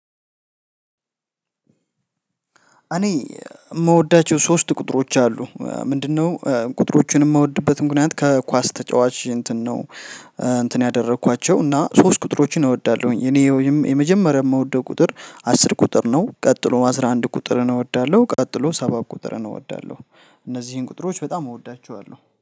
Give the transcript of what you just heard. እኔ የምወዳቸው ሶስት ቁጥሮች አሉ፤ ምንድነው? ቁጥሮቹን የምወድበትም ምክንያት ከኳስ ተጫዋች እንትን ነው እንትን ያደረኳቸው፤ እና ሶስት ቁጥሮችን እወዳለሁኝ፤ እኔ ወይም የመጀመሪያ የምወደው ቁጥር፣ አስር ቁጥር ነው፣ ቀጥሎ አስራ አንድ ቁጥርን እወዳለሁ፣ ቀጥሎ ሰባት ቁጥርን እወዳለሁ፤ እነዚህን ቁጥሮች በጣም እወዳቸዋለሁ፤